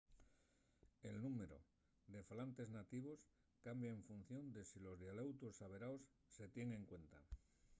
el númberu de falantes nativos cambia en función de si los dialeutos averaos se tienen en cuenta